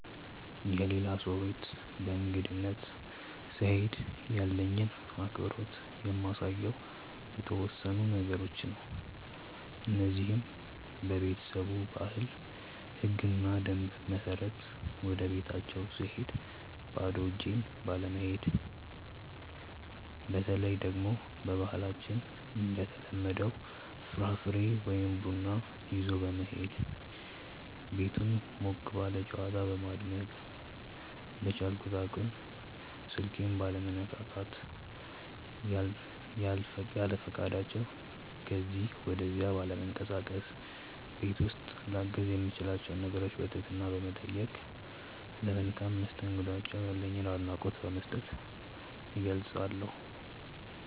የሌላ ሰው ቤት በእንግድነት ስሄድ ያለኝን አክብሮት የማሳየው በተወሰኑ ነገሮች ነው። እነዚህም:- በቤተሰቡ ባህል፣ ህግና ደንብ በመመራት፣ ወደቤታቸው ስሄድ ባዶ እጄን ባለመሄድ፣ በተለይ ደግሞ በባህላችን እንደተለመደው ፍራፍሬ ወይ ቡና ይዞ በመሄድ፣ ቤቱን ሞቅ ባለ ጨዋታ በማድመቅ፣ በቻልኩት አቅም ስልኬን ባለመነካካት፣ ያለፈቃዳቸው ከዚ ወደዛ ባለመንቀሳቀስ፣ ቤት ውስጥ ላግዝ የምችላቸውን ነገሮች በትህትና በመጠየቅ፣ ለመልካም መስተንግዷቸው ያለኝን አድናቆት በመስጠት እገልፀዋለሁ።